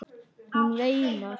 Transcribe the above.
Hún veinar.